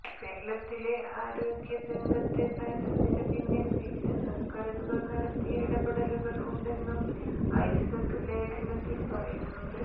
കേരളത്തിലെ ആരോഗ്യ രംഗത്തെ നേട്ടത്തിന് പിന്നിൽ വിവിധ സർക്കാരുകൾ നടത്തിയ ഇടപെടലുകൾ ഉണ്ടെന്നും ഐസക്ക് ലേഖനത്തിൽ പറയുന്നുണ്ട്